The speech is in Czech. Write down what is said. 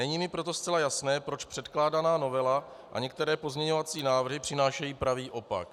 Není mi proto zcela jasné, proč předkládaná novela a některé pozměňovací návrhy přinášejí pravý opak.